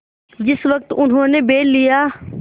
जिस वक्त उन्होंने बैल लिया